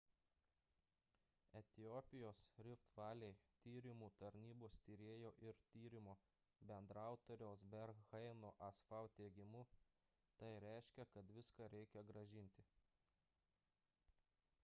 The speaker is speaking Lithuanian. etiopijos rift valley tyrimų tarnybos tyrėjo ir tyrimo bendraautoriaus berhane'o asfaw teigimu tai reiškia kad viską reikia grąžinti